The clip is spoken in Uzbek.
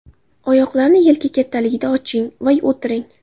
Oyoqlarni yelka kattaligida oching va o‘tiring.